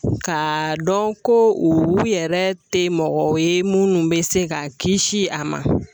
K'a dɔn ko u yɛrɛ tɛ mɔgɔ ye minnu bɛ se ka kisi a ma